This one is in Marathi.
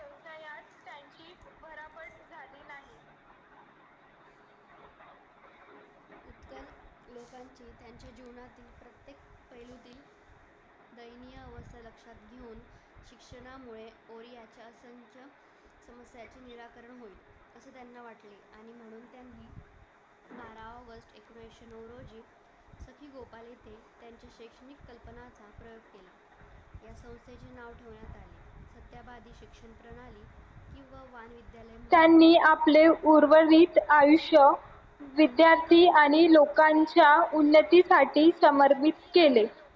त्यांनी आपले आयुष्य विद्यार्थी आणि लोकांच्या उन्नतीसाठी समर्पित केले